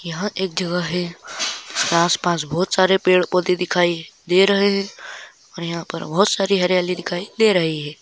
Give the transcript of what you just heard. यहाँ एक जगह है आसपास बहोत सारे पेड-़ पौधे दिखाई दे रहे है और यहाँ पर बहोत सारी हरियाली दिखाई दे रही हैं।